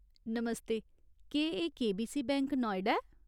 नमस्ते, केह् एह् KBC bank, नोएडाक्टर ऐ ?